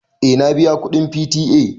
Eh na biya kuɗin P.T.A.